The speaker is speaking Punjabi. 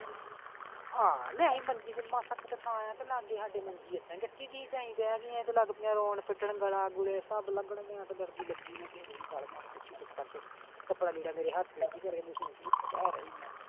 ਹਾਂ ਮੰਜੀ ਤੇ ਮਾਸਾ ਜਿਨ੍ਹਾਂ ਥਾਂ ਆ ਤੇ ਲਾਗੇ ਹਾਡੇ ਮੰਜੀ ਏਦਾਂ ਹੀ ਢਠੀ ਦੀ ਸੀ ਤੇ ਅਸੀਂ ਬੈ ਤੇ ਲਗਪੀਆਂ ਰਰੋਣ ਪਿੱਟਣ ਗੱਲਾਂ ਗੁੱਲੇ ਸਭ ਕਪੜਾ ਲੀੜਾ ਮੇਰੇ ਹੱਥ .